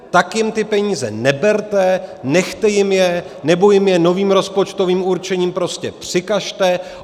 Tak jim ty peníze neberte, nechte jim je nebo jim je novým rozpočtovým určením prostě přikažte!